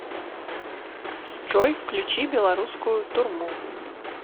джой включи беларускую турму